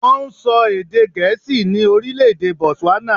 Wọ́n ń sọ èdè gẹ̀ẹ́sì ní orílè-èdè botswana.